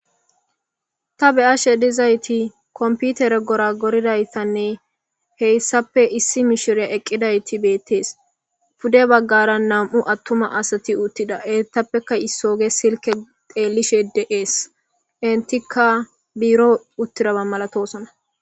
ta be'ashe dizayti komputere gora goridaystanne heyssape issi mishiriya eqqidayti beettees pude baggara nam'u attuma asati uttida ettappeka issooge silke xeellishe dees intika biiro uttiraba malatosana